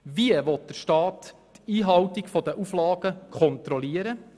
Wie will der Staat die Einhaltung der Auflagen kontrollieren?